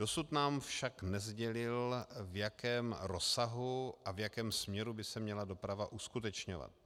Dosud nám však nesdělil, v jakém rozsahu a v jakém směru by se měla doprava uskutečňovat.